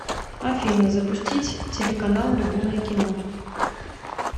афина запустить телеканал любимое кино